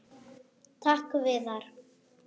Takk Viðar.